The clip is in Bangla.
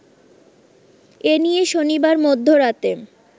এনিয়ে শনিবার মধ্যরাতে